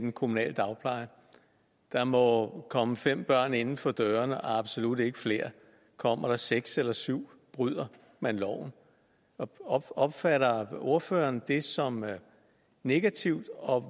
den kommunale dagpleje der må komme fem børn inden for dørene og absolut ikke flere og kommer der seks eller syv bryder man loven opfatter ordføreren det som negativt og